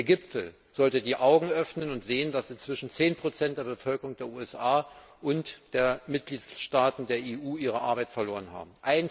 Der Gipfel sollte die Augen öffnen und sehen, dass inzwischen 10 der Bevölkerung der USA und der Mitgliedstaaten der EU ihre Arbeit verloren haben.